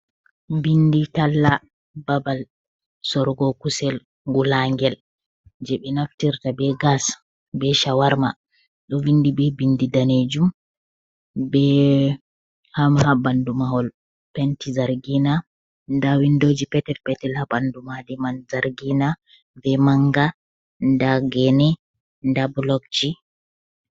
Bindi talla babal sorgo kusel wulagel, je be naftirta be gas be shawarma do vindi be bindi danejum be hamha bandu mahol penti zargina da windoji peter petel habandu madiman zargina be manga da gene da blogji.